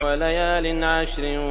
وَلَيَالٍ عَشْرٍ